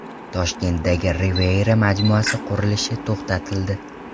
Toshkentdagi Riviera majmuasi qurilishi to‘xtatildi.